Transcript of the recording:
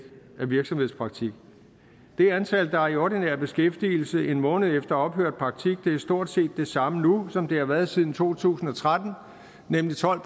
af virksomhedspraktik det antal der er i ordinær beskæftigelse en måned efter ophørt praktik er stort set det samme nu som det har er været siden to tusind og tretten nemlig tolv